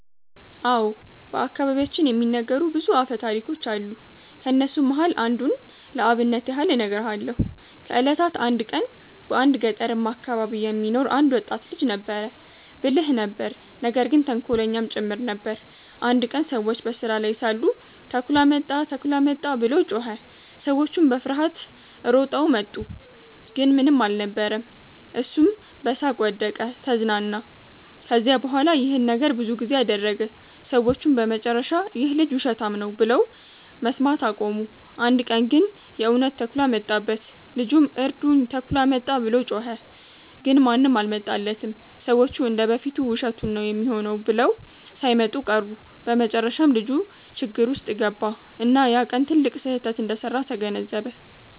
አዎ። በአከባቢያችን የሚነገሩ ብዙ አፈታሪኮች አሉ። ከነሱም መሃል አንዱን ለአብነት ያህል እነግርሃለው። ከ እለታት አንድ ቀን በአንድ ገጠርማ አከባቢ የሚኖር አንድ ወጣት ልጅ ነበረ። ብልህ ነበር ነገር ግን ተንኮለኛም ጭምር ነበር። አንድ ቀን ሰዎች በስራ ላይ ሳሉ “ተኩላ መጣ! ተኩላ መጣ!” ብሎ ጮኸ። ሰዎቹም በፍርሃት ሮጠው መጡ፣ ግን ምንም አልነበረም። እሱም በሳቅ ወደቀ(ተዝናና)። ከዚያ በኋላ ይህን ነገር ብዙ ጊዜ አደረገ። ሰዎቹም በመጨረሻ “ይህ ልጅ ውሸታም ነው” ብለው መስማት አቆሙ። አንድ ቀን ግን የእውነት ተኩላ መጣበት። ልጁም “እርዱኝ! ተኩላ መጣ!” ብሎ ጮኸ። ግን ማንም አልመጣለትም፤ ሰዎቹ እንደ በፊቱ ውሸቱን ነው ሚሆነው ብለው ሳይመጡ ቀሩ። በመጨረሻም ልጁ ችግር ውስጥ ገባ፣ እና ያ ቀን ትልቅ ስህተት እንደሰራ ተገነዘበ።